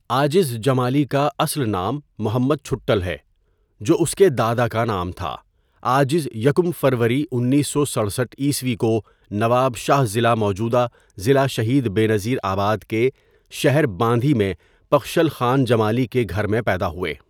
عاجز جمالی کا اصل نام محمد ڇھٹل ہے جو اس کے دادا کا نام تھا عاجز یکم فروری اُنیسو سڑساٹھ ء کو نواب شاہ ضلع موجودہ ضلع شہید بینظیر آباد کے شهر باندھی میں ڀخشل خان جمالي کے گھر میں پیدا ہوئے.